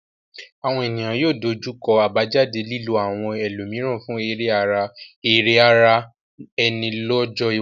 Àwọn ènìyàn yóò dojú kọ àbájáde lílo àwọn ẹlòmíràn fún èrè ara ẹni lọ́jọ́ iwájú.